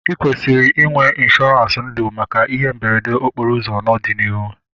I kwesịrị inwe ịnshọransị ndụ maka ihe mberede okporo ụzọ n'ọdịnihu